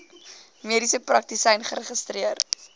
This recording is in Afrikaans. mediese praktisyn geregistreer